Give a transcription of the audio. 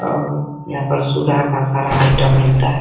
और यहा पर सुधा का सारा आइटम मिलता है।